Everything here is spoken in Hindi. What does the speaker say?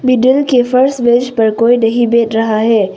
मिडिल के फर्स्ट बेंच पर कोई नहीं बैठ रहा है।